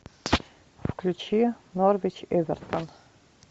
включи норвич эвертон